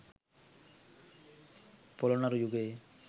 පොළොන්නරු යුගයේ